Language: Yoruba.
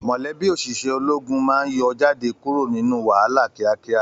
Mọlẹbi oṣiṣẹ ológun máa n yọ jáde kúrò nínú wàhálà kíákíá.